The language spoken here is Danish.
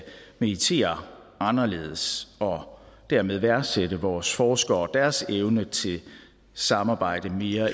meritere anderledes og dermed værdsætte vores forskere og deres evne til samarbejde mere